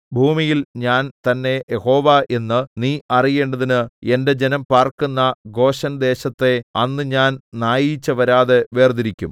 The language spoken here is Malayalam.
ഭൂമിയിൽ ഞാൻ തന്നെ യഹോവ എന്ന് നീ അറിയേണ്ടതിന് എന്റെ ജനം പാർക്കുന്ന ഗോശെൻദേശത്തെ അന്ന് ഞാൻ നായീച്ച വരാതെ വേർതിരിക്കും